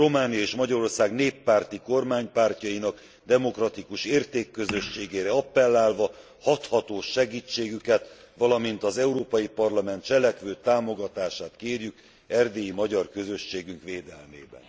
Románia és Magyarország néppárti kormánypártjainak demokratikus értékközösségére apellálva hathatós segítségüket, valamint az Európai Parlament cselekvő támogatását kérjük erdélyi magyar közösségünk védelmében.